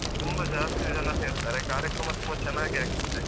ತುಂಬಾ ಜಾಸ್ತಿ ಜನ ಸೇರ್ತಾರೆ ಕಾರ್ಯಕ್ರಮ ತುಂಬಾ ಚೆನ್ನಾಗಿ ಆಗ್ತದೆ.